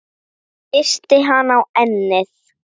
Kyssti hana á ennið.